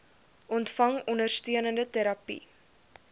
ontvang ondersteunende terapie